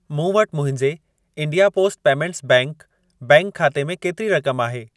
मूं वटि मुंहिंजे India post payments bank bank खाते में केतिरी रक़म आहे?